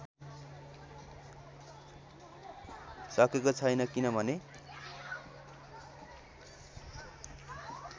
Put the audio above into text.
सकेको छैन किनभने